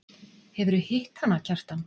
Hefurðu hitt hana, Kjartan?